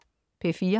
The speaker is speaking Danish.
P4: